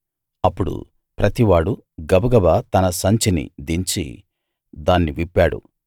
అప్పుడు ప్రతివాడూ గబగబా తన సంచిని దించి దాన్ని విప్పాడు